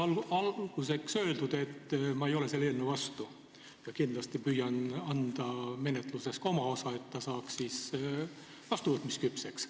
Olgu alguseks öeldud, et ma ei ole selle eelnõu vastu ja kindlasti püüan anda menetluses ka oma osa, et see eelnõu saaks vastuvõtmisküpseks.